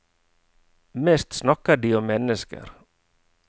Mest snakker de om mennesker.